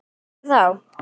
Aldrei flýgur hún aftur